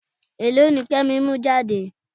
Èlò ni Kẹ́mi mú jáde?